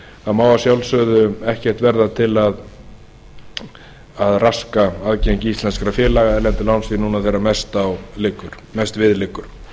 þá má að sjálfsögðu ekkert verða til að raska aðgengi íslenskra félaga að erlendu lánsfé núna þegar mest við liggur